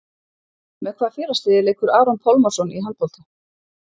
Með hvaða félagsliði leikur Aron Pálmarsson í handbolta?